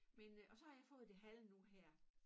Men øh og så har jeg fået det halve nu her